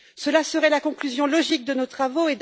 Ce serait la conclusion logique de nos travaux.